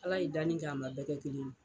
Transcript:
Ala ye danni kɛ a man bɛɛ kɛ kelen ye.